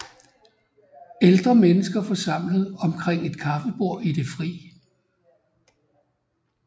Ældre mennesker forsamlet omkring et kaffebord i det fri